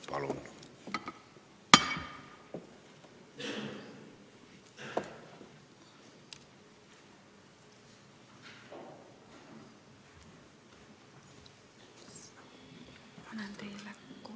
Palun!